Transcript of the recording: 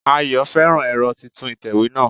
Ayọ̀ féràn ẹ̀rọ titun ìtẹ̀wé náà